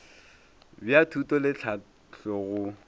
bja thuto le tlhahlo go